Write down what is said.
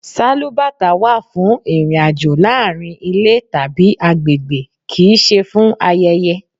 Sálúbàtà wà fún ìrìn-àjò láàárín ilé tàbí àgbègbè, kì í ṣe fún ayẹyẹ.